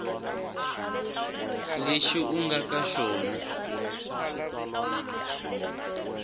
lexi u nga ka xona